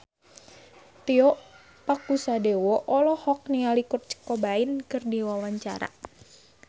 Tio Pakusadewo olohok ningali Kurt Cobain keur diwawancara